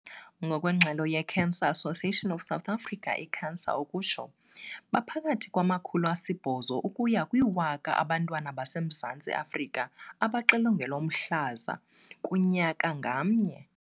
Ngokwengxelo ye-Cancer Association of South Africa, i-CANSA, baphakathi kwama-800 ukuya kwi-1 000 abantwana base Mzantsi Afrika abaxilongelwa umhlaza kunyaka ngamnye.